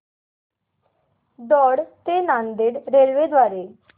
दौंड ते नांदेड रेल्वे द्वारे